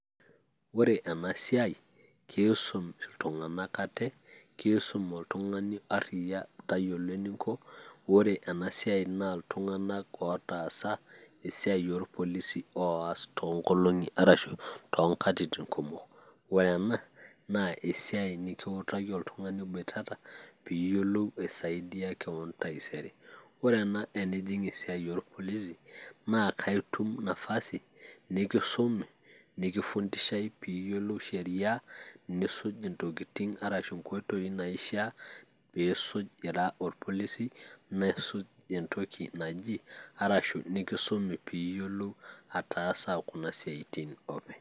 ore ena siai naa kisum iltungan k ate, kisum iltungana aiyia ate ariyia tayiolo eninko, ore ena siai naa iltungank otaasa esiai oolpolisi oosa too nkolong'i arashu too nkatitin kumok. ore ena naa esiai nikitaki oltungani iboitata pee iyiolou aisaidia kewon taisere. ore ena enijing' esiai oolpolisi naa kaitum nafasi, nikisumi nikifundishae pee iyiolou sheria, nisuj intokitin arasu inkoitoi naishaa, pe isuj ira orpolisi, nisuj entoki naji ashu kisumi pee iyiolou ataasa kuna siatin openy.